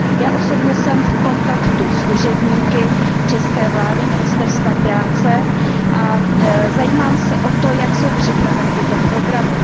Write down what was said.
Já osobně jsem v kontaktu s úředníky české vlády a ministerstva práce a zajímám se o to, jak jsou připraveny tyto programy.